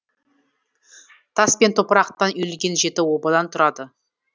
тас пен топырақтан үйілген жеті обадан тұрады